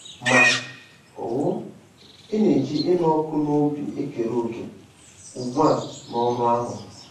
Ma um, ị na-eji ịnụ ọkụ n'obi ekere òkè ugbu a n'ọrụ ahụ.